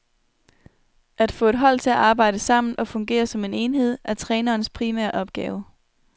At få et hold til at arbejde sammen og fungere som en enhed er trænerens primære opgave.